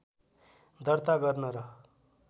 दर्ता गर्न र